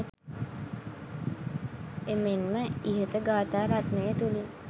එමෙන්ම ඉහත ගාථා රත්නය තුළින්